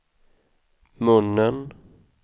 munnen